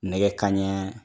Nɛgɛ kanɲɛ